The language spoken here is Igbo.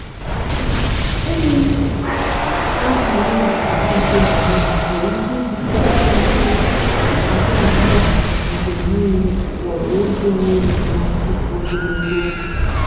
enweghị ahaghị nhata nke homonụ nwere ike ibute mmasị a na-abia mgbe niile maọbụ oge enweghi mmasị ogologo ogo.